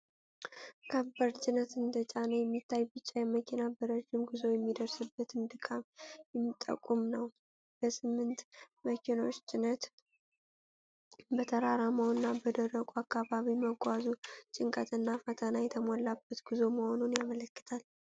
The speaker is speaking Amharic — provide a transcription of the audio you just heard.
ከባድ ጭነት እንደጫነ የሚታየው ቢጫ መኪና በረጅም ጉዞ የሚደርስበትን ድካም የሚጠቁም ነው። በስምንቱ መኪኖች ጭነት በተራራማው እና በደረቁ አካባቢ መጓዙ ጭንቀት እና ፈተና የተሞላበት ጉዞ መሆኑን ያመለክታል።